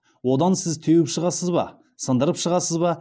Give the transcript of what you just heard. одан сіз теуіп шығасыз ба сындырып шығасыз ба